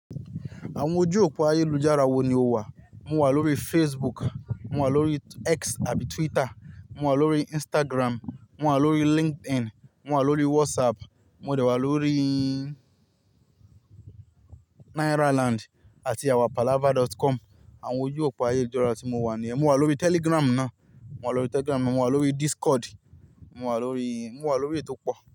Àwọn ojú òpó ayélujára wo ni o wà? Mo wà lórí Facebook, mo wà lórí X àbí Twitter, mo wà lórí Instagram, mo wà lórí LinkedIn, mo wà lórí WhatsApp, mo dẹ̀ wà lórííí Nairaland àti awapalava.com. Àwọn ojú òpó ayélujára tí mo wà nìyẹn. Mo wà lórí Telegram náà, mo wà lórí Telegram, mo wà lórí Discord, mo wà lórí, mo wà lórí èyi to pọ.